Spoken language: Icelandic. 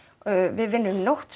við vinnum nótt